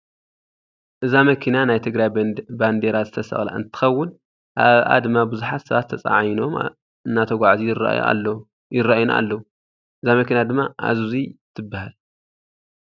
እዛ መኪና ናይ ትግራይ ባንዴራ ዝተሰቀላ እንትከውን ኣብኣ ድማ ቡዙሓት ሰባት ተፃዒኖም እናተጓዓዙ ይረአዩና ኣለዉ ። እዛ መኪናድማ ኣዙዚ ትባሃል።